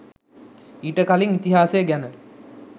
ඊට කලින් ඉතිහාසය ගැන